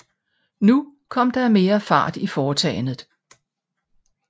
Nu kom der mere fart i foretagenet